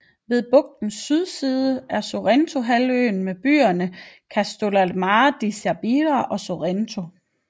Ved bugtens sydside er Sorrentohalvøen med byerne Castellammare di Stabia og Sorrento